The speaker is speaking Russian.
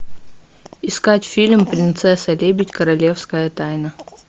искать фильм принцесса лебедь королевская тайна